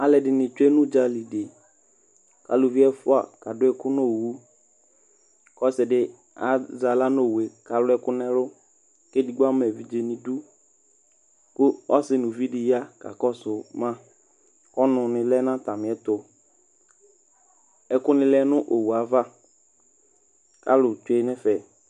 aloɛdini tsue n'udzali di aluvi ɛfua k'ado ɛkò n'owu k'ɔse di azɛ ala n'owue k'alo ɛkò n'ɛlu k'edigbo ama evidze n'idu kò ɔse no uvi di ya kakɔsu ma ɔnu ni lɛ n'atamiɛto ɛkò ni lɛ no owue ava alo tsue n'ɛfɛ